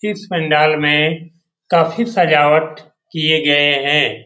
इस पंडाल में काफी सजावट किये गए हैं।